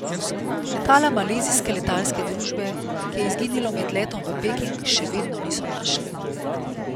Letala malezijske letalske družbe, ki je izginilo med letom v Peking, še vedno niso našli.